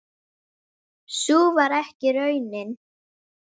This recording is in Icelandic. Sú varð ekki raunin.